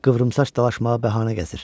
Qıvrımsaç dalaşmağa bəhanə gəzir.